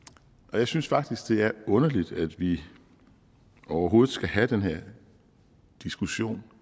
jeg synes faktisk det er underligt at vi overhovedet skal have den her diskussion